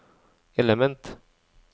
element